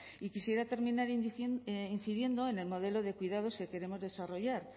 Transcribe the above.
y quisiera terminar incidiendo en el modelo de cuidados que queremos desarrollar